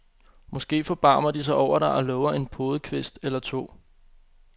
Måske forbarmer de sig over dig og lover en podekvist eller to.